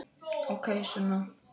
Ókei, Sunna.